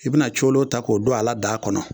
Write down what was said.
I bi na colo ta k'o don a la daa kɔnɔ